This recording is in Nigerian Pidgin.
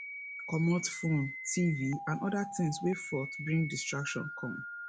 comot phone tv and oda things wey fot bring distractions come